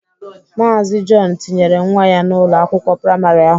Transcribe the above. Maazi Jọn tinyere nwa ya n'Ụlọ akwụkwọ praịmarị ahụ.